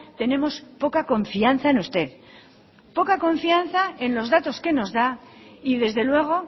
tenemos poca confianza en usted poca confianza en los datos que nos da y desde luego